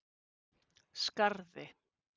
Skarði